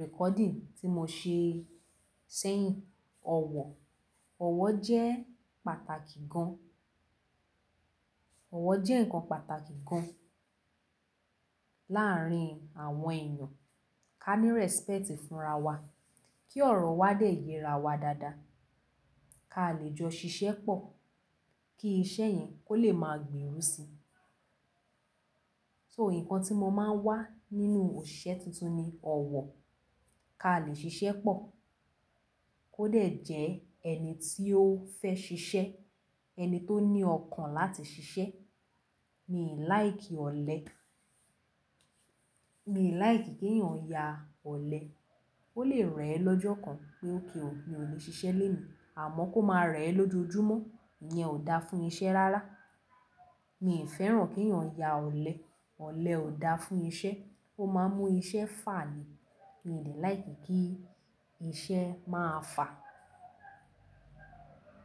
recording tí mo ṣe sẹ́yìn, ọ̀wọ̀, ọ̀wọ̀ jẹ́ pàtàkì gan. Ọ̀wọ̀ jẹ́ nǹkan pàtàkì gan láàárín àwọn ènìyàn. Ka ní respect fúnra wa, kí ọ̀rọ̀ wa dé yẹra wa dáadáa. Ka lè jọ ṣiṣẹ́ pọ̀, kí iṣẹ́ yẹn kó lè máa gberu si. So nǹkan tí mo máa ń wà nínú òṣìṣẹ́ tuntun ni ọ̀wọ̀. Ka lè ṣiṣẹ́ pọ̀, kó dẹ̀ jẹ́ ẹni tí ó fẹ́ ṣiṣẹ́, ẹni tó ní ọkàn láti ṣiṣẹ́. Mi ò like ọ̀lẹ. Mi ò like kí ènìyàn ya ọ̀lẹ. Ó lè rẹ ẹ lọ́jọ́ kan pé ok o, mi ò lè ṣiṣẹ́ lénu, àmọ́ kó máa rẹ ẹ lójoojúmọ́, ìyẹn ò da fún iṣẹ́ rárá. Mi ò fẹ́ràn kí ènìyàn ya ọ̀lẹ, ọ̀lẹ ò da fún iṣẹ́. Ó máa ń mú iṣẹ́ fà ni. Mi ò like kí iṣẹ́ máa fà.